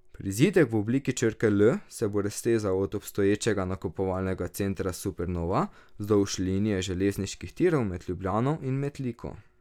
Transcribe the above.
Prizidek v obliki črke L se bo raztezal od obstoječega nakupovalnega centra Supernova vzdolž linije železniških tirov med Ljubljano in Metliko.